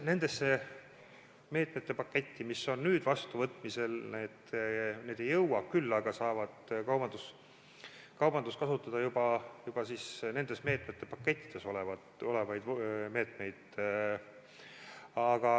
Nendesse meetmepakettidesse, mis on nüüd vastuvõtmisel, need ei jõua, küll aga saab kaubandus kasutada juba nendes meetmepakettides olevaid meetmeid.